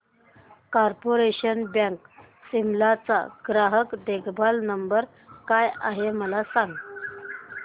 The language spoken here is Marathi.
कार्पोरेशन बँक शिमला चा ग्राहक देखभाल नंबर काय आहे मला सांग